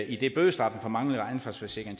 idet bødestraffen for manglende ansvarsforsikring